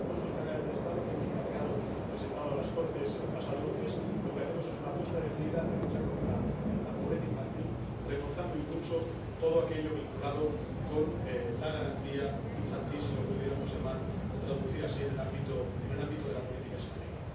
En los presupuestos generales del Estado que presentamos en las Cortes el pasado lunes, lo que hacemos es una apuesta decidida en la lucha contra la pobreza infantil, reforzando —y mucho— todo aquello vinculado con la garantía infantil —si lo pudiéramos llamar o traducir así-en el ámbito de la política española.